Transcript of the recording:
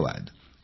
धन्यवाद